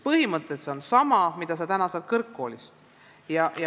Põhimõtteliselt on see sama haridus, mida saab kõrgkoolist.